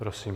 Prosím.